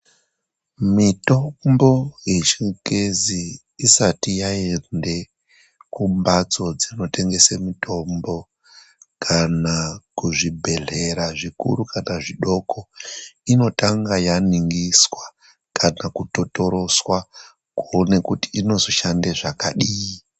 Mitombo yechingezi isati yaende kumhatso dzinotengese mitombo kana kuzvibhedhlera zvikuru kana zvidoko, inotanga yaningiswa kana kutotorotswa kuone kuti inozoshanda zvakadii.